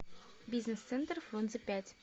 бизнес центр фрунзе пять